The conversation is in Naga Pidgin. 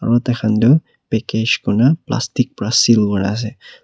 aru tai khan tu package koina plastic pra seel kura ase.